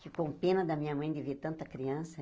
Ficou pena da minha mãe de ver tanta criança.